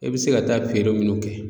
E be se ka taa feere minnu kɛ